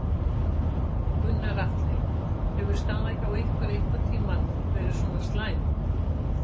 Gunnar Atli: Hefur staðan hjá ykkur einhvern tímann verið svona slæm?